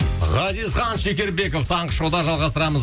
ғазизхан шекербеков таңғы шоуда жалғастырамыз